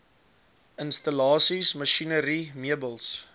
installasies masjinerie meubels